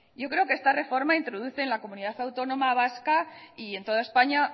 yo creo que esta reforma introduce en la comunidad autónoma vasca y en toda españa